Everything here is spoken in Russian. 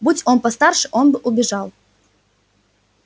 будь он постарше он бы убежал